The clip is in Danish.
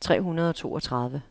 tre hundrede og toogtredive